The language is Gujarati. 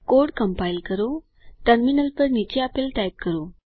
કોડ કમ્પાઇલ કરો ટર્મિનલ પર નીચે આપેલ ટાઇપ કરો